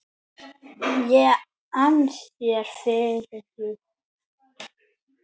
ég ann þér fyrir því.